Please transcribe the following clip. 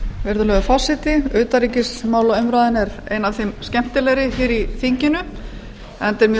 virðulegi forseti utanríkismálaumræðan er ein af þeim skemmtilegri hér í þinginu enda er mjög